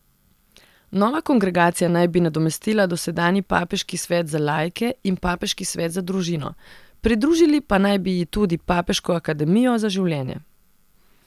Nova kongregacija naj bi nadomestila dosedanji papeški svet za laike in papeški svet za družino, pridružili pa naj bi ji tudi papeško akademijo za življenje.